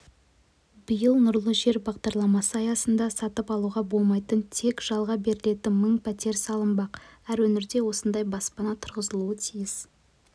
биыл нұрлы жер бағдарламасы аясында сатып алуға болмайтын тек жалға берілетін мың пәтер салынбақ әр өңірде осындай баспана тұрғызылуы тиіс